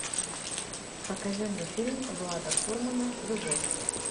покажи мне фильм влада фурмана любовь